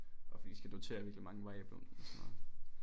Og fordi vi skal notere virkelig mange variable og sådan noget